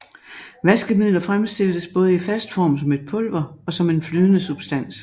Vaskemidler fremstilles både i fast form som et pulver og som en flydende substans